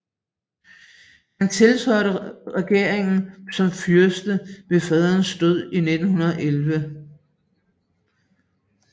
Han tiltrådte regeringen som fyrste ved faderens død i 1911